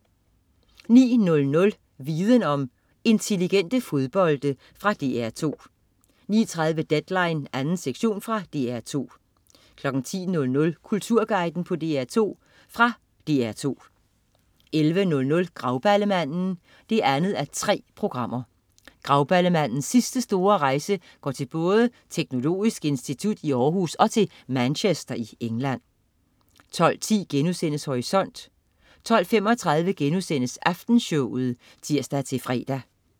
09.00 Viden Om: Intelligente fodbolde. Fra DR2 09.30 Deadline 2. sektion. Fra DR2 10.00 Kulturguiden på DR2. Fra DR2 11.00 Grauballemanden 2:3. Grauballemandens sidste store rejse går til både Teknologisk Institut i Århus og til Manchester i England 12.10 Horisont* 12.35 Aftenshowet* (tirs-fre)